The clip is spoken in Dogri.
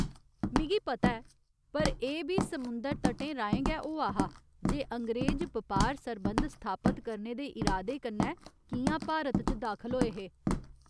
मिगी पता ऐ, पर एह् बी समुंदर तटें राहें गै होआ हा जे अंग्रेज बपार सरबंध स्थापत करने दे इरादे कन्नै कि'यां भारत च दाखल होए हे।